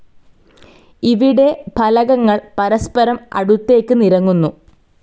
ഇവിടെ ഫലകങ്ങൾ പരസ്പരം അടുത്തേക്ക് നിരങ്ങുന്നു.